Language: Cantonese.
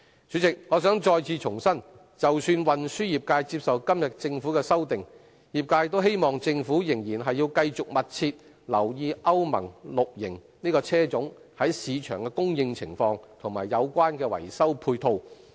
主席，我想再次重申，即使運輸業界接受政府今天的修訂，業界也希望政府繼續密切留意歐盟 VI 期車種在市場的供應情況，以及有關的維修配套。